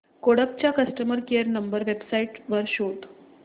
Kodak चा customer care number website वर शोध